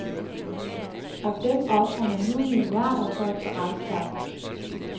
Og dem ofrer man nu milliarder for at få afskaffet.